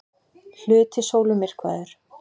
Hluti sólu myrkvaður